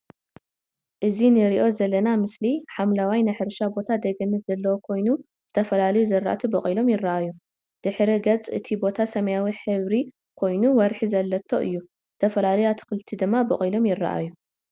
እዚ እንሪኦ ዘለና ምስሊ ሓምላዋይ ናይ ሕርሻ ቦታ ደገት ዘለዎ ኮይኑ፣ ዝተፈላለዩ ዝርአቲ በቂሎም ይረአዩ፡፡ ድሕረ ገፅ እቲ ቦታ ሰማያዊ ሕብሪ ኮይኑ ወርሒ ዘለቶ እዩ፡፡ ዝተፈላለዩ አትክልቲ ድማ በቂሎም ይረአዩ፡፡